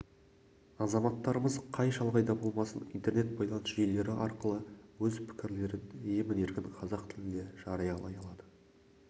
азаматтарымыз қай шалғайда болмасын интернет байланыс жүйелері арқылы өз пікірлерін емін-еркін қазақ тілінде жариялай алады